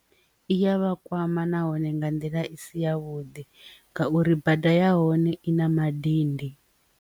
I ya vha kwama nahone nga nḓila i si ya vhuḓi ngauri bada ya hone i na madindi.